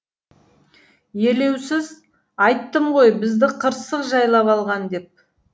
елеусіз айттым ғой бізді қырсық жайлап алған деп